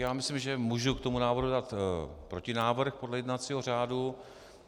Já myslím, že můžu k tomu návrhu dát protinávrh podle jednacího řádu.